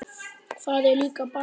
Það er líka bara fyndið.